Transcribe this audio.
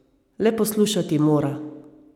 Le poslušati mora.